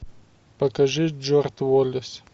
покажи джордж уоллес